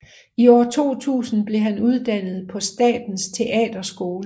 I år 2000 blev han uddannet på Statens Teaterskole